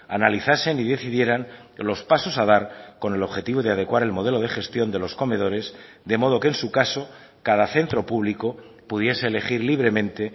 analizasen y decidieran los pasos a dar con el objetivo de adecuar el modelo de gestión de los comedores de modo que en su caso cada centro público pudiese elegir libremente